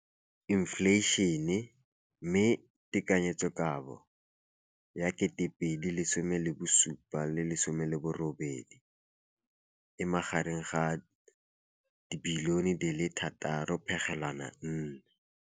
Infleišene, mme tekanyetsokabo ya 2017, 18, e magareng ga R6.4 bilione.